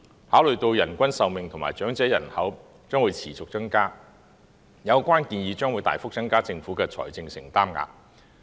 考慮到人均壽命及長者人口將持續增加，有關建議將會大幅增加政府的財政承擔額。